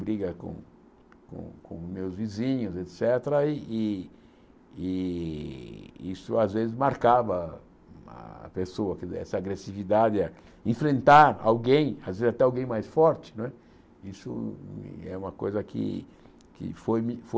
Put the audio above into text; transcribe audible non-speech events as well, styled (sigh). briga com com com meus vizinhos, et cétera, e e e e isso às vezes marcava a pessoa, (unintelligible) essa agressividade a enfrentar alguém, às vezes até alguém mais forte não é, isso é uma coisa que foi que foi me